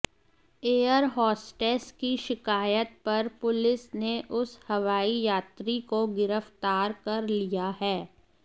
air hostess की शिकायत पर पुलिस ने उस हवाई यात्री को गिरफ्तार कर लिया है